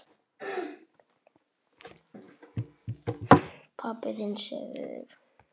Pabbi þinn sefur.